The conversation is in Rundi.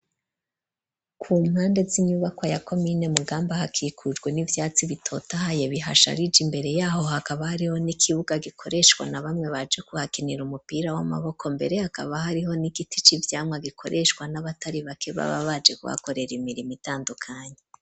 Ku mpande z'inyubaka ya komine Mugamba hakikurwe n'ivyatsi bitotahaye bihasharije imbere yaho hakaba hariho n'ikibuga gikoreshwa na bamwe baje guhakinira umupira w'amaboko .Mbere hakaba hariho n'ikiticivyamwa gikoreshwa n'abatari bake baba baje guhakorera imirimo itandukanye.